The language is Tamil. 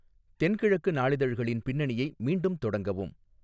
தென்கிழக்கு நாளிதழ்களின் பின்னணியை மீண்டும் தொடங்கவும்